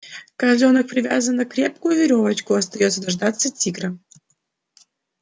козлёнок привязан за крепкую верёвочку остаётся дождаться тигра